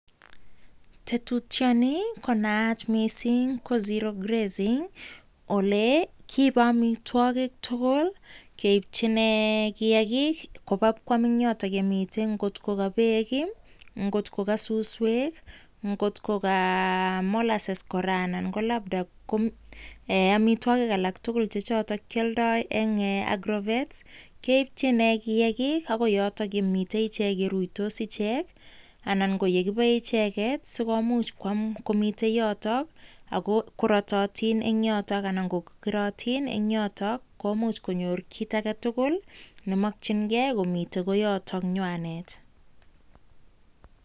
Tetutyoni konayat mising ko zero grazing ole kiibei amitwagik tugul keibchin koba koam eng yotok kamitei nkot ka beek, ngotko ka suswek, ngotko ka molasses kora ananko amitwagik alak tugul chekialdai eng agrovet ,AK keibchin kiagik. Xgoi yotok yeruisot ichek anan kotebe icheket sikomuch koam eng yotok agoratoiuin eng yotok anan ko keratin eng yotok. Komuch koyor kit age tugul mmakchingei